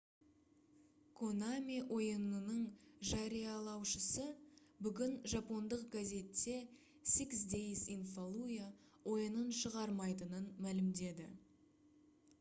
konami ойынының жариялаушысы бүгін жапондық газетте six days in fallujah ойынын шығармайтынын мәлімдеді